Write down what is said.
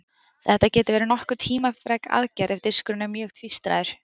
Þetta getur verið nokkuð tímafrek aðgerð ef diskurinn er mjög tvístraður.